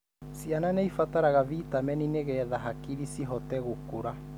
Ciana nĩ cibataraga vitamini nĩgetha hakiri cihote gukũra.